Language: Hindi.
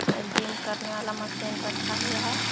अ जिम करने वाला मशीन रखा हुआ है।